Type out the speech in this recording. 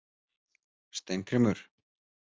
Steingrímur